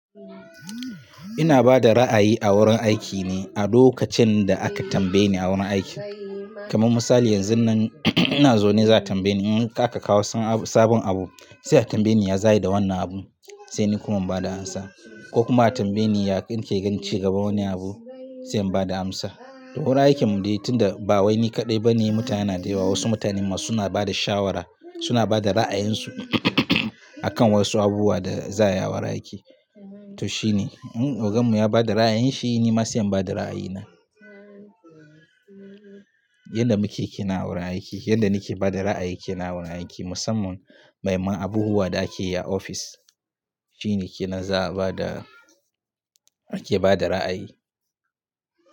Ina bada ra'ayi a wurin aiki ne a lokacin da aka tambaye ni a wurin aiki. Kaman misali yanzun nan ina zaune za a tambaye ni in aka kawo sabon abu sai a tambaye ni ya za ayi da wannan abu sai ni kuma bada amsa ko kuma a tambaye ni yake gan ci gaba wani abu sai in bada amsa. A wurin aikin mu dai tunda ba wani kaɗai bane mutane na da yawa wasu mutane ma suna bada shawara suna bada ra'ayinsu akan wasu abubuwa da za a yi a wurin aiki. To shine, in ogan mu ya bada ra'ayi shine ma sai in bada ra'ayi na. Yanda muke kenan wurin aiki, yanda nike bada ra'ayi ke na wurin aiki musamman mahimman abubuwa da ake yi a ofis shine ke na za a bada ake bada ra'ayi.